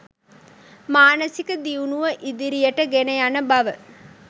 මානසික දියුණුව ඉදිරියට ගෙන යන බව